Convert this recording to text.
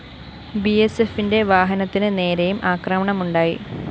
ബിഎസ്എഫിന്റെ വാഹനത്തിന് നേരെയും ആക്രമണമുണ്ടായി